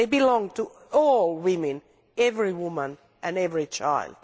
They belong to all women, every woman and every child.